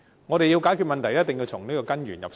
我們要解決問題，一定要從根源入手。